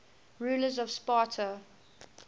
rulers of sparta